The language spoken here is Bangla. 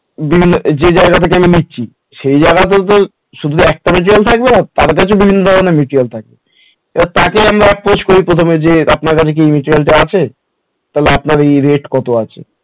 বিভিন্ন ধর যে জায়গা থেকে নিচ্ছি, সেই জায়গা তেই তো শুধু একটার জোন থাকবে আর তার কাছে বিভিন্ন material থাকবে তার কাছেই আমরা খোঁজ করি প্রথমে যে আপনার কাছে কি এই material টা আছে আপনার এই rate কত আছে?